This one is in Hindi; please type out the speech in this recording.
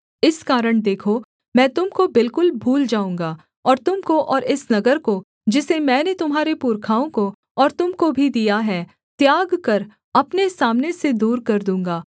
इस कारण देखो मैं तुम को बिलकुल भूल जाऊँगा और तुम को और इस नगर को जिसे मैंने तुम्हारे पुरखाओं को और तुम को भी दिया है त्याग कर अपने सामने से दूर कर दूँगा